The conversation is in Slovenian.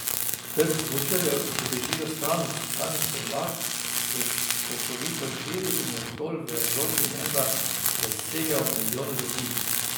Trg smučarjev, ki bežijo stran od steptanih podlag, se skokovito širi in je zgolj v Evropi menda presegel milijon ljudi.